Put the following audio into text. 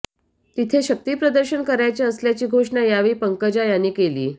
तिथे शक्तिप्रदर्शन करायचे असल्याची घोषणा यावेळी पंकजा यांनी केली